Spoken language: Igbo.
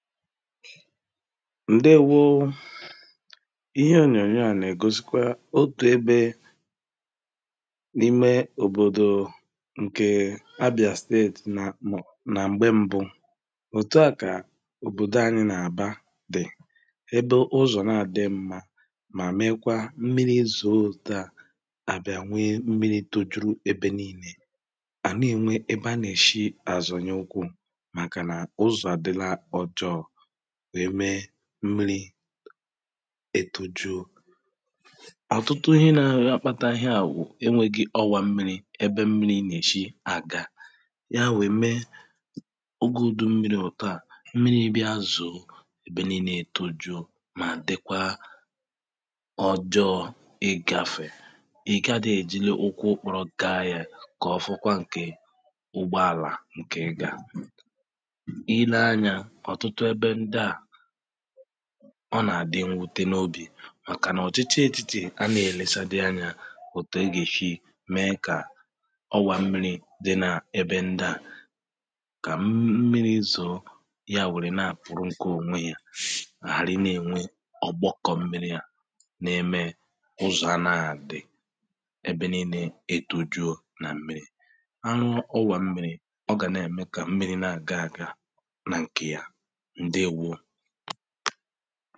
ŋ̀déwō ihe ònyònyò a na-ègosikwa otu ebē n’imē òbòdò ǹkè Abià state na-amọ̀ nà m̀gbe mbụ̀ òtu a kà òbòdò anyị̄ nà-àgba dì ebe ụzọ̀ nà à dị mmā mà mekwa mmiri zo dà à bià we mmiri tojuru ebe niinē hà na-enwē ebe ha nà-èshi à zònye ụkwụ màkà nà ụzọ̀ àdịla ọjọọ̄ we mee mmili ètujo ọ̀tụtụ ihe na rị a kpata ị ya wụ̄ ewē gi ọwà mmiri ebe mmiri nà-èshi àga ya weè mee ugùdu mmiri òtua mmiri bịa zoō ebe niinē ètojo mà dịkwa ọjọọ̄ ịgāfè ị̀ ga dèjilu ụkwụ kpụrọ gaa yē kà ọfọkwa ǹkè ụgbọàlà ǹkè ị gà àhụ i ne-anyā ọ̀tụtụ ebe ndi ā ọ nà àdị inwute n’obì màkà n’ọ̀chichi etìtì anāghị̄ èlesa dị anyā òtù egèshi mee kà ọwā mmiri dị nā ebe ndi ā kà mm̄ mmiri zoō ya wùri nā àkpụrụ ǹke ònwe yā sh hàri na-ènwe ọ̀gbọkọ̀ mmiri yā na-eme ụzọ̀ anāghị̄ àdị ebe niinē etujuo na mmirī a nụọ ọwā mmirī ọ gà na-ème kà mmirī nà-àga gaā nà ǹkè ya ǹdewō